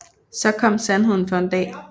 Så kom sandheden for en dag